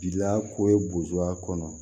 Bila ko ye bozo a kɔnɔ